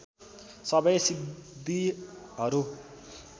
सबै सिद्धिहरू